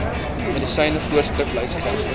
medisyne voorskriflys geld